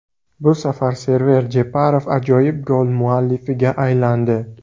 Bu safar Server Jeparov ajoyib gol muallifiga aylandi.